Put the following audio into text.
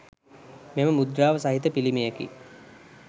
මෙම මුද්‍රාව සහිත පිළිමයකි